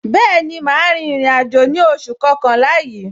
Bẹẹni, ma rin ìrìn àjò ní oṣù kọkànlá yìí.